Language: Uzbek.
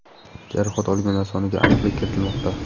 Jarohat olganlar soniga aniqlik kiritilmoqda.